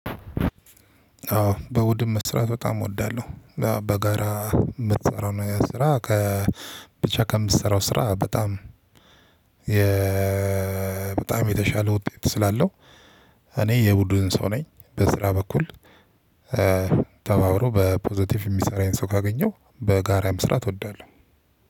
አዎ እሁድም መስራት በጣም እወዳለሁ። በጋራ የምትሰራውን ስራ ከብቻ ከምትሰራው ስራ በጣም በጣም የተሻለ ውጤት ስላለው። እኔ የቡድን ሰው ነኝ በስራ በኩል። ተባብሮ በፖዘቲቭ የሚሰራኝ ሰው ካገኘሁ በጋራ መስራት እወዳለሁ።